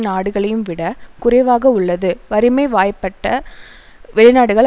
நாடுகளையும் விட குறைவாக உள்ளது வறுமை வாயப்பட்ட வெளிநாடுகள்